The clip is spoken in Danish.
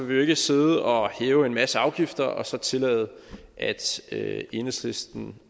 vi jo ikke sidde og hæve en masse afgifter og så tillade at enhedslisten